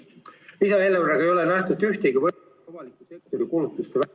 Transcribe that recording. Lisaeelarvega ei ole nähtud ühtegi ...... avaliku sektori kulutuste ...